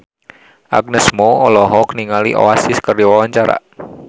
Agnes Mo olohok ningali Oasis keur diwawancara